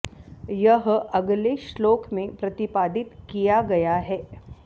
यह अगले श्लोक में प्रतिपादित किया गया है